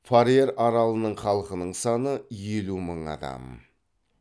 фарер аралының халқының саны елу мың адам